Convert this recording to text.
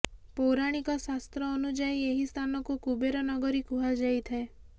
ପୌରାଣିକ ଶାସ୍ତ୍ର ଅନୁଯାୟୀ ଏହି ସ୍ଥାନକୁ କୁବେର ନଗରୀ କୁହାଯାଇଥାଏ